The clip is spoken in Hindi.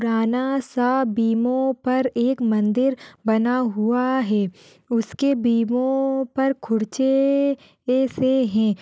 राना सा बिमो पर एक मंदिर बना हुआ है। उसके बिमो पर खुरचे से हैं।